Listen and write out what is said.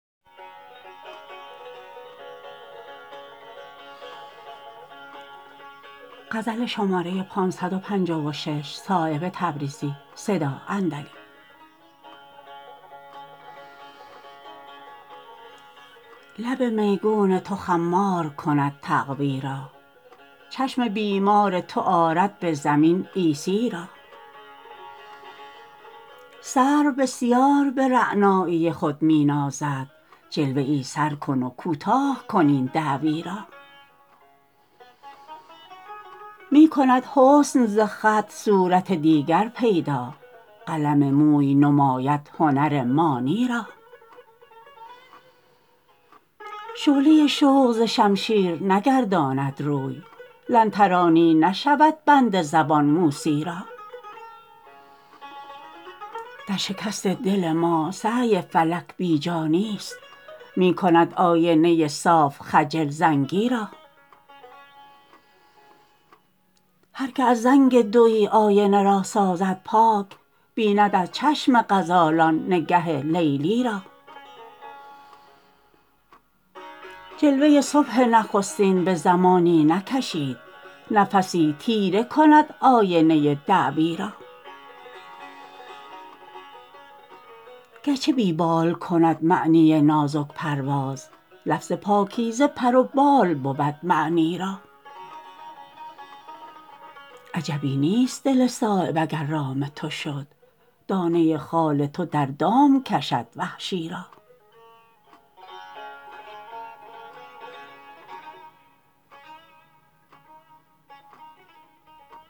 لب میگون تو خمار کند تقوی را چشم بیمار تو آرد به زمین عیسی را سرو بسیار به رعنایی خود می نازد جلوه ای سر کن و کوتاه کن ای دعوی را می کند حسن ز خط صورت دیگر پیدا قلم موی نماید هنر مانی را شعله شوق ز شمشیر نگرداند روی لن ترانی نشود بند زبان موسی را در شکست دل ما سعی فلک بیجا نیست می کند آینه صاف خجل زنگی را هر که از زنگ دویی آینه را سازد پاک بیند از چشم غزالان نگه لیلی را جلوه صبح نخستین به زمانی نکشید نفسی تیره کند آینه دعوی را گرچه بی بال کند معنی نازک پرواز لفظ پاکیزه پر و بال بود معنی را عجبی نیست دل صایب اگر رام تو شد دانه خال تو در دام کشد وحشی را